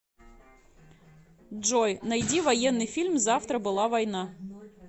джой найди военный фильм завтра была война